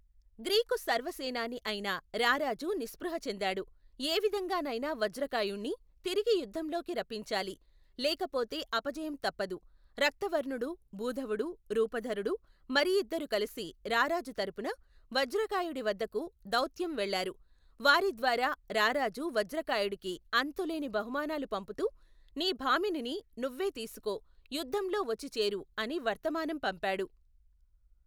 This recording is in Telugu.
గ్రీకు సర్వసేనాని అయిన రారాజు నిస్ప్రుహ చెందాడు ఏవిధంగానైనా వజ్రకాయుణ్ణి, తిరిగి యుద్ధంలోకి రప్పించాలి, లేకపోతే అపజయం తప్పదు, రక్తవర్ణుడు భూధవుడు, రూపధరుడు, మరి ఇద్దరు కలిసి రారాజు తరపున, వజ్రకాయుడి వద్దకు, దౌత్యం వెళ్ళారు, వారిద్వారా రారాజు వజ్రకాయుడికి అంతులేని బహుమానాలు పంపుతూ, నీ భామినిని నువ్వే తీసుకో యుద్ధంలో వచ్చి చేరు అని వర్తమానం పంపాడు.